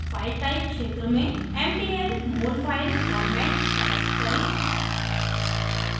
file type क्षेत्र में mdl molfile format select करें